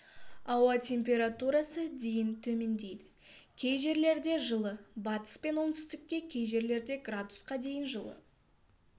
ауа температурасы дейін төмендейді кей жерлерде жылы батыс пен оңтүстікте кей жерлерде градусқа дейін жылы